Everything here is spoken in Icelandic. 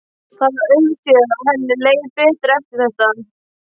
Það var auðséð að henni leið betur eftir þetta.